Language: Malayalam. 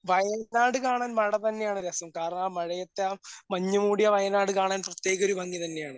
വയനാട് കാണാൻ മേടം തന്നെയാണ് രസം. കാരണം ആ മഴയത്ത് ആ മഞ്ഞുമൂടിയ വയനാട് കാണാൻ പ്രത്യേക ഒരു ഭംഗി തന്നെ ആണ്.